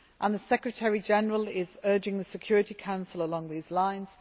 The Secretary General is urging the Security Council along these lines.